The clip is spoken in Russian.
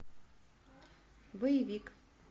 боевик